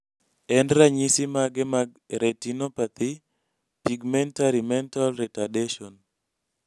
en ranyisi mage mag Retinopathy pigmentary mental retadation